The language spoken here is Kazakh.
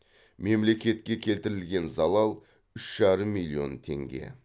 мемлекетке келтірілген залал үш жарым миллион теңге